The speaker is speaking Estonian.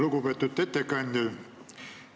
Lugupeetud ettekandja!